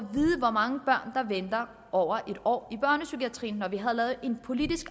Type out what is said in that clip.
hvor mange børn der venter over en år i børnepsykiatrien og vi har lavet en politisk